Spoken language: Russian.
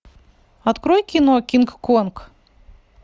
открой кино кинг конг